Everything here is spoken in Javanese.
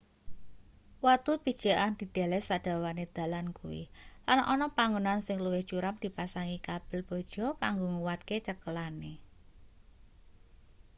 watu pijekan dideleh sadawane dalan kuwi lan ana panggonan sing luwih curam dipasangi kabel baja kanggo nguwatke cekelane